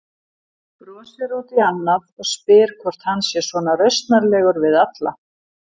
Brosir út í annað og spyr hvort hann sé svona rausnarlegur við alla.